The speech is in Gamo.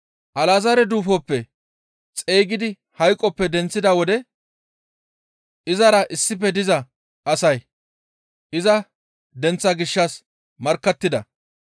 Alazaare duufoppe xeygidi hayqoppe denththida wode izara issife diza asay iza denththaa gishshas markkattida.